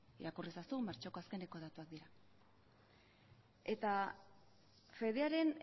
irakurri ezazu martxoko azkeneko datuak dira eta fedearen